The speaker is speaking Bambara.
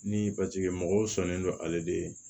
Ni paseke mɔgɔw sɔnnen don ale de ye